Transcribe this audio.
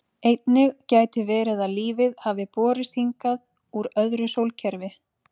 Einnig gæti verið að lífið hafi borist hingað úr öðru sólkerfi.